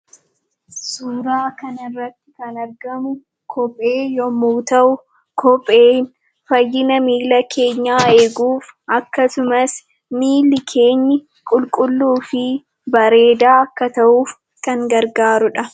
Suura kana irratti kan argamu kophee yemmuu ta'u , kopheen fayyina miila keenyaa eeguuf akkasumas miilli keenya qulqulluu fi bareedaa akka ta'uuf kan gargaaruudha.